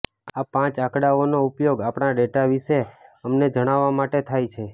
આ પાંચ આંકડાઓનો ઉપયોગ આપણા ડેટા વિશે અમને જણાવવા માટે થાય છે